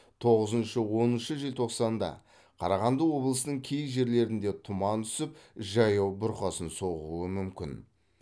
тоғызыншы оныншы желтоқсанда қарағанды облысының кей жерлерінде тұман түсіп жаяу бұрқасын соғуы мүмкін